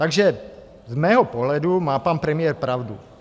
Takže z mého pohledu má pan premiér pravdu.